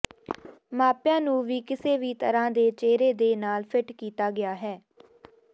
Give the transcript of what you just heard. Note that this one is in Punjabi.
ਮਾਪਿਆਂ ਨੂੰ ਵੀ ਕਿਸੇ ਵੀ ਤਰ੍ਹਾਂ ਦੇ ਚਿਹਰੇ ਦੇ ਨਾਲ ਫਿੱਟ ਕੀਤਾ ਗਿਆ ਹੈ